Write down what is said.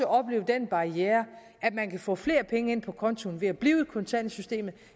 opleve den barriere at man kan få flere penge ind på kontoen ved at blive